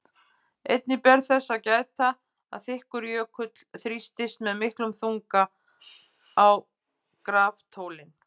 Einnig ber þess að gæta að þykkur jökull þrýstir með miklum þunga á graftólin.